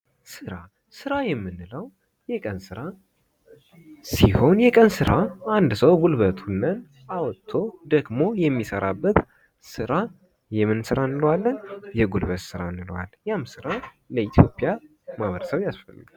ስራ፦ ስራ የምንለው የቀን ስራ ሲሆን የቀን ስራ አንድ ሰው ጉልበቱን አውጥቶ ደክሞ የሚሰራው ስራ የምን ስራ እንለዋለን፦ የጉልበት ስራ እንለዋለን ያም ስራ ለኢትዮጵያ ማህበረሰብ ያስፈልጋል።